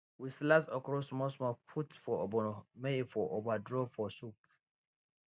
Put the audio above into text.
we slice okro small small put for ogbono may e for over draw for soup